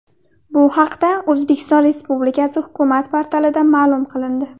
Bu haqda O‘zbekiston Respublikasi hukumat portalida ma’lum qilindi .